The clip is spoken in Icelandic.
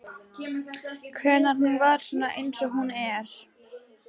Hvenær hún varð svona eins og hún er.